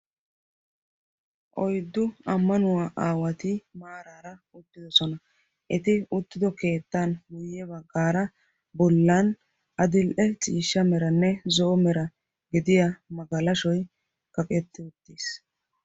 Oyddu ammanuwaa aawati maaraa uttidosona. eti uttido keettan guye baggaara bollan adil"e ciishsha meranne zo'o mera gidiyaa magalashoy kaqetti uttiis.